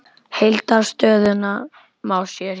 Heildar stöðuna má sjá hérna.